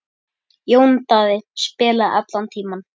Jón Daði spilaði allan tímann.